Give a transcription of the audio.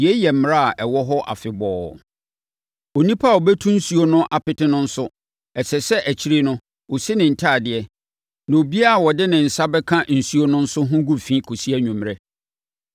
Yei yɛ mmara a ɛwɔ hɔ afebɔɔ. “Onipa a ɔbɛtu nsuo no apete no nso, ɛsɛ sɛ akyire no, ɔsi ne ntadeɛ, na obiara a ɔde ne nsa bɛka nsuo no nso ho gu fi kɔsi anwummerɛ.